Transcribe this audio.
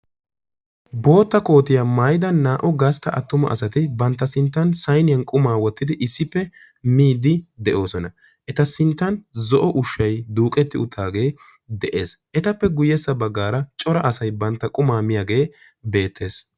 Bootta kootiya maayida naa"u gastta attuma asati bantta sinttan sayniyan qumaa wottidi issippe miiddi de'oosona. Eta sinttan zo'o ushshay duuqetti uttaagee de'ees. Etappe guyyessa baggaara cora asay bantta qumaa miyagee beettees.